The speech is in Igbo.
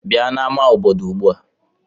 Bịa n'ámá obodo ugbu a!